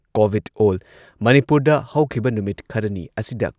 COVID ꯑꯣꯜ ꯃꯅꯤꯄꯨꯔꯗ ꯍꯧꯈꯤꯕ ꯅꯨꯃꯤꯠ ꯈꯔꯅꯤ ꯑꯁꯤꯗ